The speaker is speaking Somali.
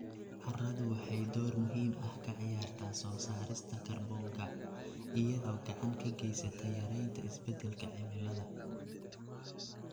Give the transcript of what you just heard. Carradu waxay door muhiim ah ka ciyaartaa soo saarista kaarboonka, iyadoo gacan ka geysata yaraynta isbedelka cimilada.